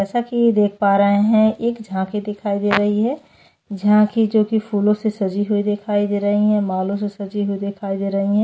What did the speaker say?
जैसे की देख पा रहे है एक झाँसी दिखाई दे रही है झांसी जो की फूलो से सजी हुई दिखाई दे रही है मालों से सजी हुए दिखाई दे रही है।